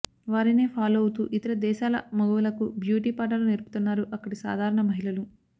వారినే ఫాలో అవుతూ ఇతర దేశాల మగువలకు బ్యూటీ పాఠాలు నేర్పుతున్నారు అక్కడి సాధారణ మహిళలు